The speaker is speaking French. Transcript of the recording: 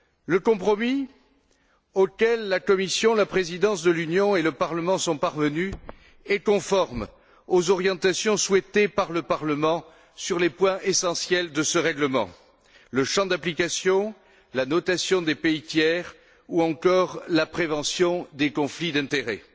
Le compromis auquel la Commission, la présidence de l'Union et le Parlement sont parvenus est conforme aux orientations souhaitées par le Parlement sur les points essentiels de ce règlement le champ d'application, la notation des pays tiers ou encore la prévention des conflits d'intérêts.